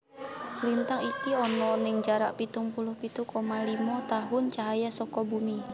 Lintang iki ana ning jarak pitung puluh pitu koma limo tahun cahaya saka Bumi